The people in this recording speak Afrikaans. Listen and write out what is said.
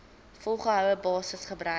volgehoue basis gebruik